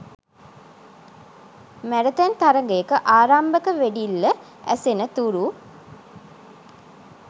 marathon තරගයක ආරම්භක වෙඩිල්ල ඇසෙන තුරු